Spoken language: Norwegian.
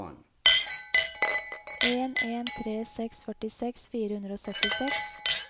en en tre seks førtiseks fire hundre og syttiseks